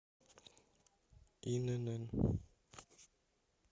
инн